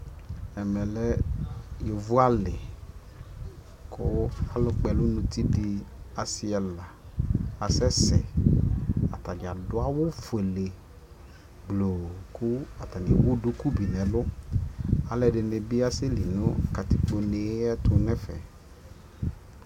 ɛmɛ lɛ yɔvɔ ali kʋ alʋ kpɔ ɛlʋ nʋ ʋti di asii ɛla asɛsɛ kʋ atagya adʋ awʋ ƒʋɛlɛ gblɔɔ kʋ atagya ɛwʋ dʋkʋ bi bʋ ɛlʋ, alʋɛdini bi asɛ li nʋ katikpɔ nɛ ayɛtʋ nʋ ɛƒɛ.